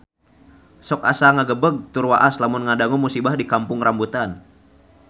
Sok asa ngagebeg tur waas lamun ngadangu musibah di Kampung Rambutan